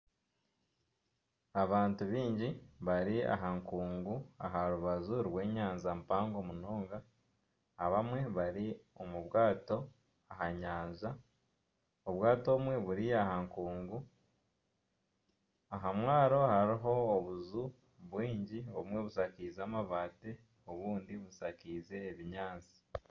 Abantu baingi bari aha nkungu, aha rubaju rw'enyanja mpango munonga. Abamwe bari omu bwato aha nyanja, obwato obumwe buri aha nkungu. Aha mwaro hariho obuju bwingi obumwe bushakaize amabaati, obumwe bushakaize obunyaatsi.